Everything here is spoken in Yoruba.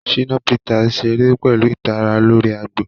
Shina Peters ṣere pẹlu itara lori agbo.